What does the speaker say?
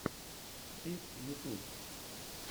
фитз ютюб